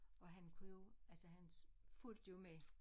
Og han kunne jo altså han fulgte jo med